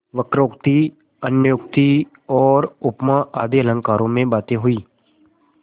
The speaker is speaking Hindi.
वक्रोक्ति अन्योक्ति और उपमा आदि अलंकारों में बातें हुईं